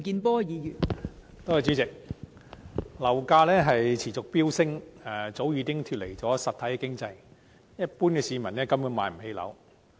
代理主席，樓價持續飆升，早已脫離實體經濟，一般市民根本無法買樓。